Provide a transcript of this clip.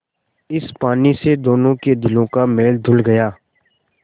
इस पानी से दोनों के दिलों का मैल धुल गया